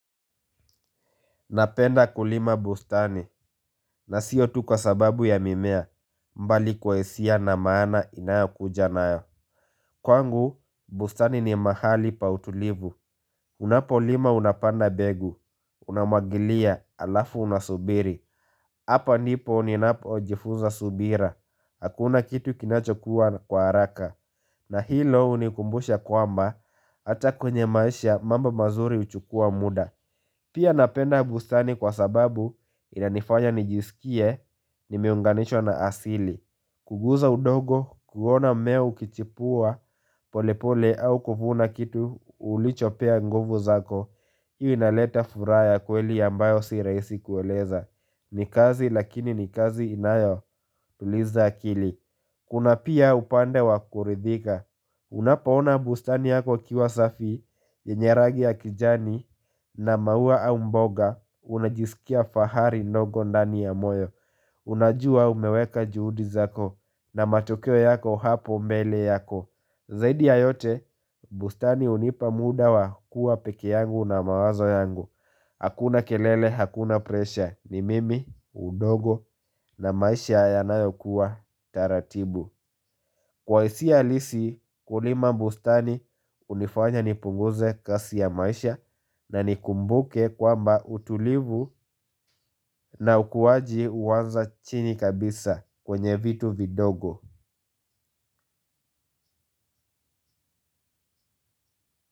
Napenda kulima bustani na siotu kwa sababu ya mimea mbali kwa hisia na maana ina kujanayo. Kwangu bustani ni mahali pautulivu. Unapo lima unapanda mbegu. Unamwagilia alafu unasubiri. Hapa ndipo uninapo jifunza subira. Hakuna kitu kinachokuwa kwa haraka. Na hilo hunikumbusha kwamba hata kwenye maisha mambo mazuri huchukua muda. Pia napenda bustani kwa sababu inanifanya nijisikie nimeunganishwa na asili kugusa udongo, kuona mmea ukichipua pole pole au kuvuna kitu ulichopea ngovu zako hii inaleta furaha ya kweli ambayo si rahisi kueleza. Ni kazi lakini ni kazi inayo tuliza akili. Kuna pia upande wakuridhika. Unapaona bustani yako ikiwa safi, yenye rangi ya kijani na maua au mboga unajisikia fahari ndogo ndani ya moyo. Unajua umeweka juhudi zako na matokeo yako hapo mbele yako. Zaidi ya yote bustani hunipa muda wa kuwa peke yangu na mawazo yangu. Hakuna kelele hakuna presha ni mimi udongo na maisha yanayo kuwa taratibu. Kwa hisia alisi kulima bustani hunifanya nipunguze kasi ya maisha. Na nikumbuke kwamba utulivu na ukuwaji huanza chini kabisa kwenye vitu vidogo.